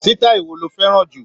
Sítáì wo lo fẹ́ràn jù?